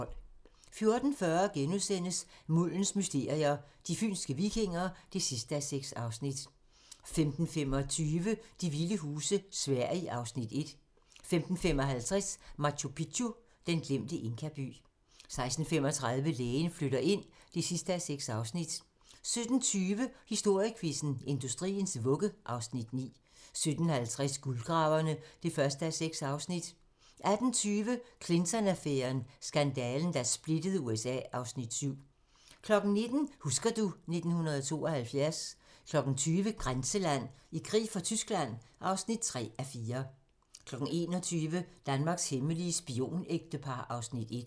14:40: Muldens mysterier - De fynske vikinger (6:6)* 15:25: De vilde huse - Sverige (Afs. 1) 15:55: Machu Picchu: Den glemte inkaby 16:35: Lægen flytter ind (6:6) 17:20: Historiequizzen: Industriens vugge (Afs. 9) 17:50: Guldgraverne (1:6) 18:20: Clinton-affæren: Skandalen, der splittede USA (Afs. 7) 19:00: Husker du ... 1972 20:00: Grænseland - I krig for Tyskland (3:4) 21:00: Danmarks hemmelige spionægtepar (Afs. 1)